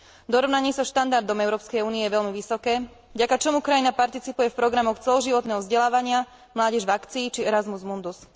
Dorovnanie sa štandardom Európskej únie je veľmi vysoké, vďaka čomu krajina participuje v programoch celoživotného vzdelávania Mládež v akcii či Erazmus mundus.